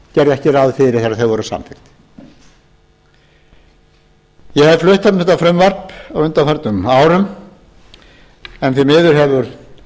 ekki ráð fyrir þegar þau voru samþykkt ég hef flutt um þetta frumvarp á undanförnum árum en því miður hefur